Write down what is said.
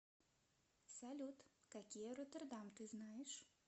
салют какие роттердам ты знаешь